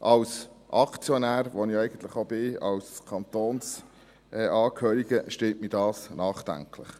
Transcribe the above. Als Aktionär, der ich als Kantonsangehöriger bin, stimmt mich das nachdenklich.